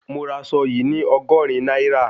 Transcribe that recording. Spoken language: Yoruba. Mo ra aṣọ yìí ní Ọgọ́rin náírà